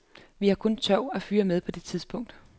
Vi havde kun tørv at fyre med på det tidspunkt.